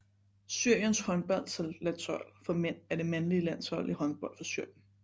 Syriens håndboldlandshold for mænd er det mandlige landshold i håndbold for Syrien